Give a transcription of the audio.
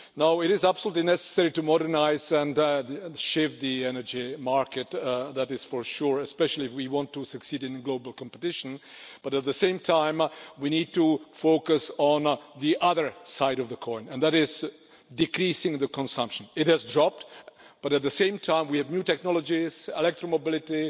It is absolutely necessary to modernise and shape the energy market, that is for sure, especially if we want to succeed in global competition, but at the same time, we need to focus on the other side of the coin reducing consumption. It has dropped but, at the same time, we have new technologies, electro mobility,